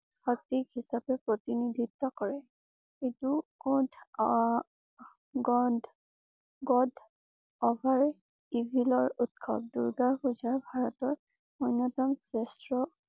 পাতিক হিচাপে প্ৰতিনিধিত্ব কৰে। এইটো কত আহ good over evil ৰ উৎসৱ। দুৰ্গা পূজাৰ ভাৰতৰ অন্যতম শ্ৰেষ্ঠ